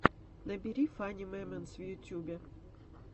набери фани мемэнтс в ютубе